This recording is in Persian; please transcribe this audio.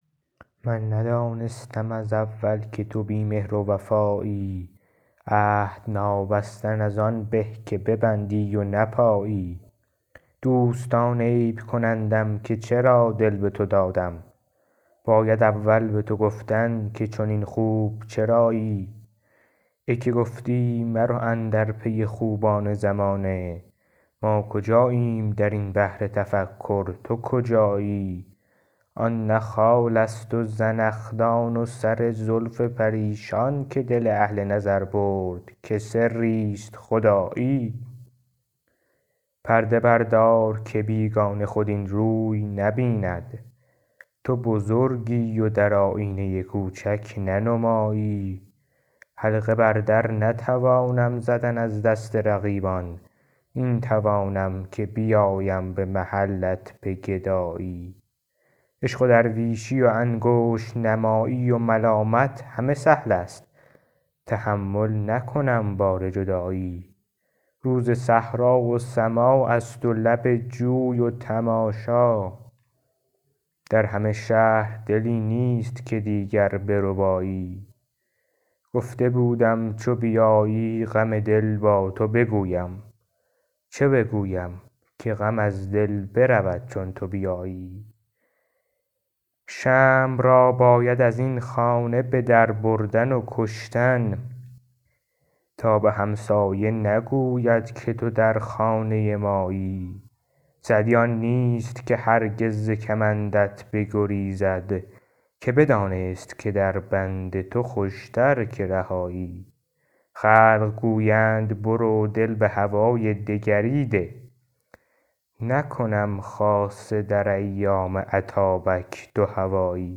من ندانستم از اول که تو بی مهر و وفایی عهد نابستن از آن به که ببندی و نپایی دوستان عیب کنندم که چرا دل به تو دادم باید اول به تو گفتن که چنین خوب چرایی ای که گفتی مرو اندر پی خوبان زمانه ما کجاییم در این بحر تفکر تو کجایی آن نه خالست و زنخدان و سر زلف پریشان که دل اهل نظر برد که سریست خدایی پرده بردار که بیگانه خود این روی نبیند تو بزرگی و در آیینه کوچک ننمایی حلقه بر در نتوانم زدن از دست رقیبان این توانم که بیایم به محلت به گدایی عشق و درویشی و انگشت نمایی و ملامت همه سهلست تحمل نکنم بار جدایی روز صحرا و سماعست و لب جوی و تماشا در همه شهر دلی نیست که دیگر بربایی گفته بودم چو بیایی غم دل با تو بگویم چه بگویم که غم از دل برود چون تو بیایی شمع را باید از این خانه به در بردن و کشتن تا به همسایه نگوید که تو در خانه مایی سعدی آن نیست که هرگز ز کمندت بگریزد که بدانست که در بند تو خوشتر که رهایی خلق گویند برو دل به هوای دگری ده نکنم خاصه در ایام اتابک دوهوایی